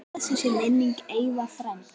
Blessuð sé minning Eyva frænda.